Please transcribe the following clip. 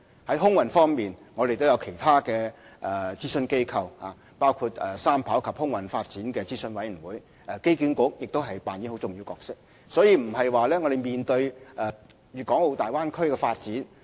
在空運方面，我們亦有其他諮詢機構，包括航空發展與機場三跑道系統諮詢委員會，而機管局亦擔當重要角色。